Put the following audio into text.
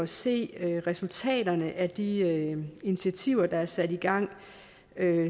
se resultaterne af de initiativer der er sat i gang